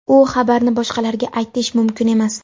u xabarni boshqalarga aytish mumkin emas.